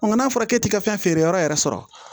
Nka n'a fɔra k'e ti ka fɛn feere yɔrɔ yɛrɛ sɔrɔ